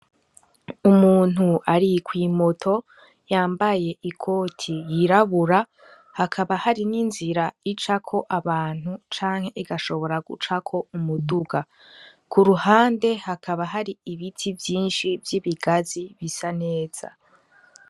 Umuntu ari kwimoto yambaye ikoti yirabura, hakaba hari n'inzira icako abantu canke igashobora gucako umuduga. Ku ruhande hakaba hari ibiti vyinshi vy'ibigazi bisa neza.